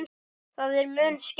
Það er mun skemmti